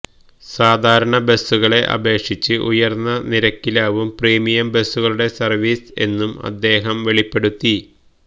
സാധാരണ ബസ്സുകളെ അപേക്ഷിച്ച് ഉയർന്ന നിരക്കിലാവും പ്രീമിയം ബസ്സുകളുടെ സർവീസ് എന്നും അദ്ദേഹം വെളിപ്പെടുത്തി